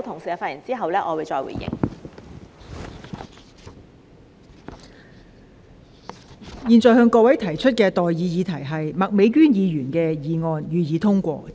我現在向各位提出的待議議題是：麥美娟議員動議的議案，予以通過。